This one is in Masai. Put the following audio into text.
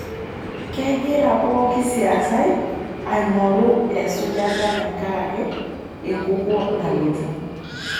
Kegira pooki siasai aingoru esujata tenkaraki enkukuo nalotu.